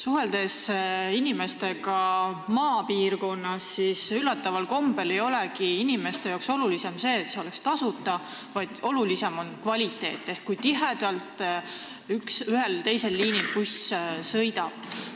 Suheldes inimestega maapiirkonnas, selgub, et üllataval kombel ei olegi nende jaoks oluline see, et sõit oleks tasuta, vaid palju tähtsam on kvaliteet ehk see, kui tiheda graafikuga buss ühel või teisel liinil sõidab.